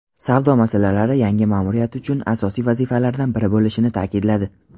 savdo masalalari yangi ma’muriyat uchun asosiy vazifalardan biri bo‘lishini ta’kidladi.